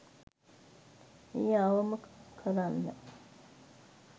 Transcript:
එය අවම කරන්න